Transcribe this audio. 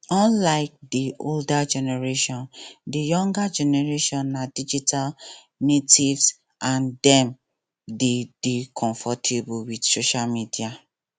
unlike di older generation di younger generation na digital natives and dem de dey comfortable with social media